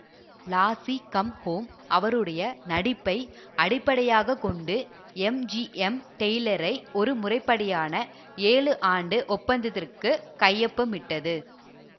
lassi come home அவருடைய நடிப்பை அடிப்படையாக கொண்டு எம்ஜிஎம் டெய்லரை ஒரு முறைப்படியான ஏழுஆண்டு ஒப்பந்தத்திற்குக் கையொப்பமிட்டது